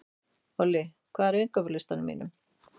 Olli, hvað er á innkaupalistanum mínum?